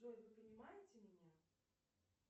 джой вы понимаете меня